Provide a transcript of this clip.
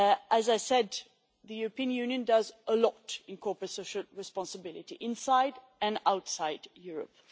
As I said, the European Union does a lot on corporate social responsibility, inside and outside Europe.